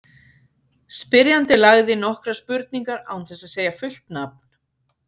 Spyrjandi lagði inn nokkrar spurningar án þess að segja fullt nafn.